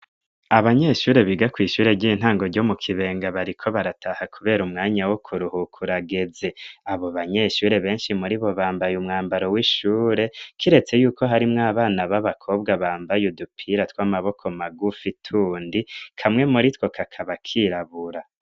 Abanyeshure biga kw'ishure ry'intango ryo mu Kibenga, bariko barataha kubera umwanya wo kuruhuka urageze, abo banyeshure benshi muri bo bambaye umwambaro w'ishure, kiretse yuko harimwo abana b'abakobwa bambaye udupira tw'amaboko magufi tundi, kamwe muri two kakaba kirabura.